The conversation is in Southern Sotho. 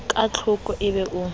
ka tlhoko e be o